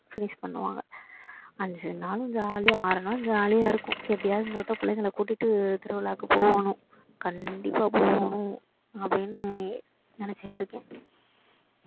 finish பண்ணுவாங்க அஞ்சு நாளும் jolly யா ஆறு நாள் jolly யா இருக்கும் எப்படியாவது இந்த வாட்டி பிள்ளைங்கள கூட்டிட்டு திருவிழாக்கு போகணும் கண்டிப்பா போகணும் அப்படின்னு நினைச்சிட்டு இருக்கேன்